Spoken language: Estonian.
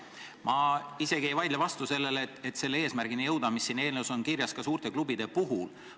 Ma isegi ei vaidle vastu sellele, et jõuda eesmärgini, mis siin eelnõus kirjas on, ka suurte klubide puhul.